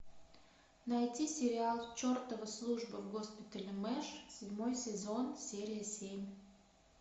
найти сериал чертова служба в госпитале мэш седьмой сезон серия семь